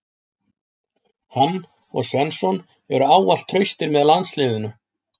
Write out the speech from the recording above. Hann og Svensson eru ávallt traustir með landsliðinu.